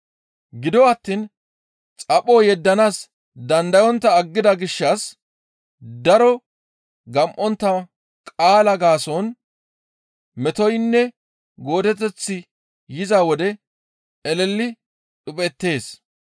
Gido attiin xapho yeddanaas dandayontta aggida gishshas daro gam7ontta qaalaa gaason metoynne goodeteththi yiza wode eleli dhuphettees.